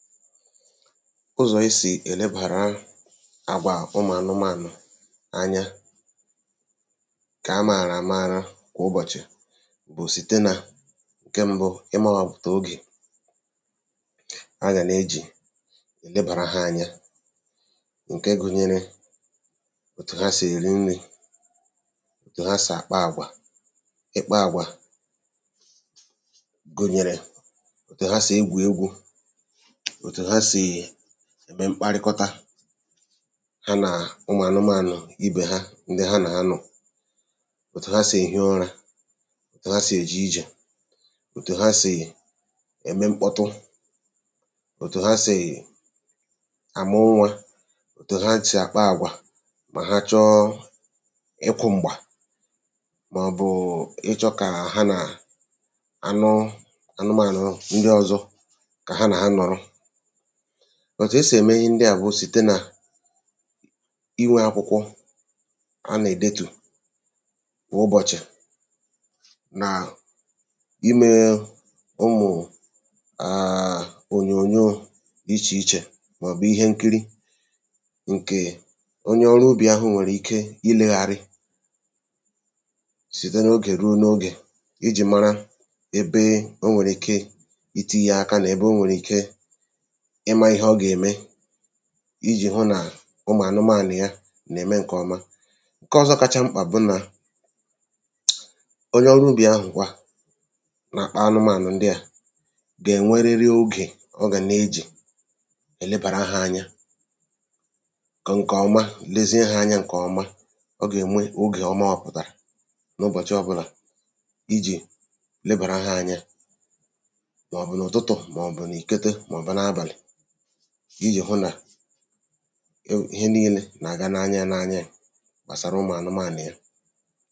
Ụzọ̀ esì èlebàra àgwà ụmụ̀ anụmānụ̀ anya ǹkà amàrà àmara kwụ̀ ụbọ̀chị̀ bụ̀ site nà ǹke mbụ ịmāwàpụ̀tà ogè a gà nejì èlebàra hā anya ǹke gūnyērē òtù ha sì èri nrī, òtù ha sì àkpa àgwà, ikpā àgwà gùnyèrè òtù ha sì egwù egwū òtù ha sìì ème mkparịkọta ha nà ụmụ̀ anụmānụ ibè ha ndị ha nā nọ̀, òtù ha sì èhi ụrā, òtù ha sì èje ijè, òtù ha sì ème mkpọtụ, òtù ha sì àmụ nwā, òtù ha sì àkpa àgwà mà ha chọọ ịkụ̄ m̀gbà mọ̀bụ̀ụ̀ ịchọ̄ kà ha nàà anụ anụmānụ̀ ndị ọ̄zọ̄ kà ha nà ha nọ̀rọ. Òtù esì ème ihe ndị à bụ site nà inwē akwụkwọ a nèdetù kwụ̀ ụbọ̀chị̀ na imēē ụmụ̀ụ̀ ònyònyoō dị ichè ichè mọ̀bụ̀ ihe nkiri ǹkèè onye ọrụ ubì ahụ̀ nwèrè ike ilēghara site n’ogè rùo n’ogè ijì mara ebe o nwèrè ike itīnyē aka nè ebe o nwèrì ike ịmā ihe ọ gème ijì hụ nà ụmụ̀ anụmānụ̀ ya nème ǹkọ̀ọma Ǹkọọ̀zọ kacha mkpà bụ nà onye ọrụ ubì ahụ̀kwa nàkpa alụmānụ̀ ndị à gènweriri ogè ọ gà nejì èlebàra hā anya kọ̀ma lezie hā anya ǹkọ̀ọma ọ gènwe ogè ọ māwàpụ̀tàrà n’ụbọ̀chị ọbụlà ijì lebàra hā anya mọ̀bụ̀ n’ụ̀tụtụ̀, mọ̀bụ̀ n’ìkete mọbụ n’abàlị̀ ijì hụ nà ihe nilē nàga n’anya yā n’anya yē gbàsara ụmụ̀ anụmānụ̀ ya